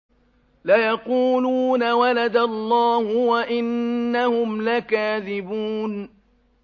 وَلَدَ اللَّهُ وَإِنَّهُمْ لَكَاذِبُونَ